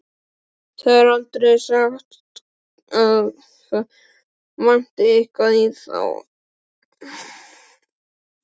Það er aldrei sagt að það vanti eitthvað í þá.